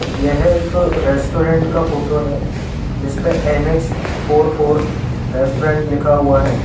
यह एक रेस्टोरेंट का फोटो है जिसपे एन_एच फोर फोर रेस्टोरेंट लिखा हुआ है।